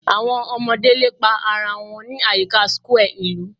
Awọn ọmọde lepa ara wọn ni ayika square ilu